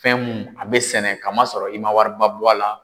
Fɛn mun a bɛ sɛnɛ kamasɔrɔ i man wariba bɔ a la.